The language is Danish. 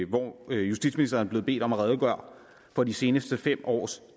hvor justitsministeren er blevet bedt om at redegøre for de seneste fem års